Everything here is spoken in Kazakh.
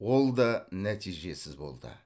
ол да нәтижесіз болды